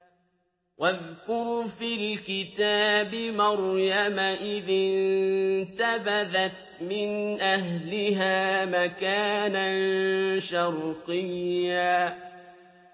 وَاذْكُرْ فِي الْكِتَابِ مَرْيَمَ إِذِ انتَبَذَتْ مِنْ أَهْلِهَا مَكَانًا شَرْقِيًّا